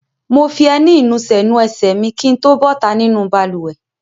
Mo fi ẹní ìnusẹ̀ nu ẹsẹ̀ mi kí n tó bọ́ta nínú balùwẹ̀.